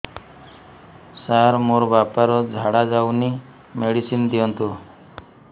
ସାର ମୋର ବାପା ର ଝାଡା ଯାଉନି ମେଡିସିନ ଦିଅନ୍ତୁ